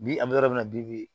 Bi an bɛ yɔrɔ min na bi bi